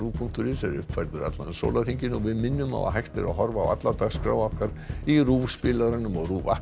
punktur is er uppfærður allan sólarhringinn við minnum á að hægt er að horfa á alla dagskrá okkar í RÚV spilaranum og í RÚV